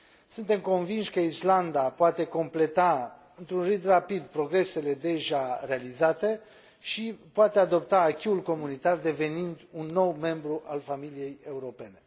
Suntem convinși că Islanda poate completa într un ritm rapid progresele deja realizate și poate adopta acquis ul comunitar, devenind un nou membru al familiei europene.